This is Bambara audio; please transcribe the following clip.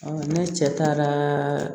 ne cɛ taara